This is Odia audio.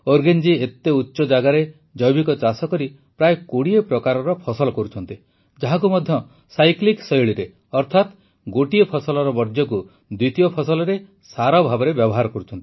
ଓରଗେନ ଜୀ ଏତେ ଉଚ୍ଚଜାଗାରେ ଜୈବିକ ଚାଷ କରି ପ୍ରାୟ ୨୦ ପ୍ରକାରର ଫସଲ କରୁଛନ୍ତି ଯାହାକୁ ମଧ୍ୟ ସାଇକ୍ଲିକ୍ ଶୈଳୀରେ ଅର୍ଥାତ ଗୋଟିଏ ଫସଲର ବର୍ଜ୍ୟକୁ ଦ୍ୱିତୀୟ ଫସଲରେ ସାର ଭାବେ ବ୍ୟବହାର କରୁଛନ୍ତି